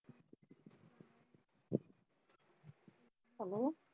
hello